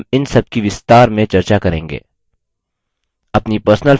हम इन सबकी विस्तार में चर्चा करेंगे